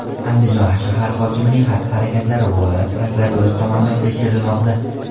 Andijon shahar hokimining xatti-harakatlari viloyat prokuraturasi tomonidan tekshirilmoqda.